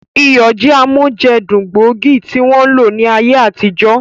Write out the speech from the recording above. Iyọ̀ jẹ́ amójẹdùn gbóògì tí wọ́n ń lò ní ayé àtijọ́